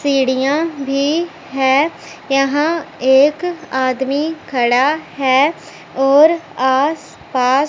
सीढ़ियां भी है यहां एक आदमी खड़ा है और आस पास--